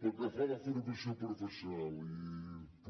pel que fa a la formació professional